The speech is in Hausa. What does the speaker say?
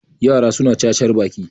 yara suna cacar Baki